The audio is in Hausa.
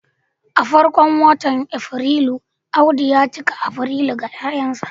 a farkon watan Afrilu, Audu ya cika Afrilu ga 'ya'yansa